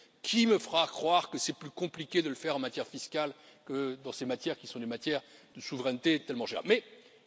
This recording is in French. Qui me fera croire que c'est plus compliqué de le faire en matière fiscale que dans ces matières, qui sont des domaines de souveraineté tellement chers aux États?